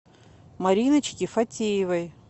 мариночки фатеевой